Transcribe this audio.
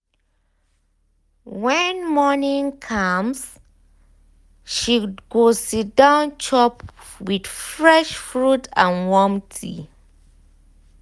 when morning calm she go siddon chop with fresh fruit and warm tea.